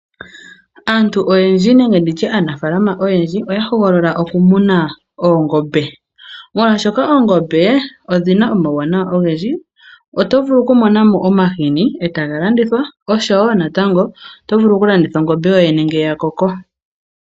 Antu oyendji nenge ndi tye aanafaalama oyendji, oya hogolola okumuna oongombe. Molwashoka oongombe odhina omauwanawa ogendji, oto vulu okumonamo omahini, eta ga landithwa osho wo tango oto vulu okulanditha ongombe yoyene ngele ya koko.